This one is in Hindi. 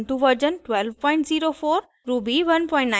ubuntu version 1204